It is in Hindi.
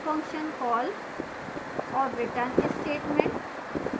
function call और return statement